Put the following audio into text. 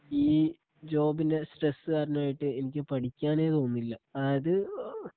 ഈ ജോബിന്റെ സ്ട്രെസ് കാരണായിട്ട് എനിക്ക് പഠിക്കാനെ തോന്നുന്നില്ല അതായതു ഓ